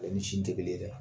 A ni sin te kelen ye dɛ.